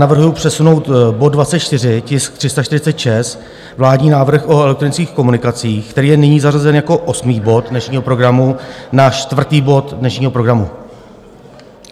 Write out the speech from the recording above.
Navrhuji přesunout bod 24, tisk 346, vládní návrh o elektronických komunikacích, který je nyní zařazen jako osmý bod dnešního programu, na čtvrtý bod dnešního programu.